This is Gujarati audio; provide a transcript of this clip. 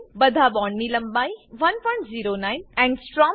બધા બોન્ડ ની લંબાઈ 109 એંગસ્ટ્રોમ એન્ગસ્ટ્રોમ છે